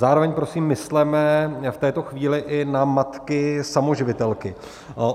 Zároveň prosím, mysleme v této chvíli i na matky samoživitelky.